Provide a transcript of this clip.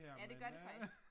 Ja det gør det faktisk